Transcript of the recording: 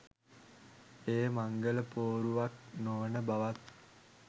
එය මංගල පෝරුවක් නොවන බවත්